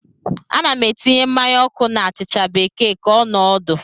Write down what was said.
Ana m etinye mmanya ọkụ na achịcha bekee ka ọ nọọ ọdụ.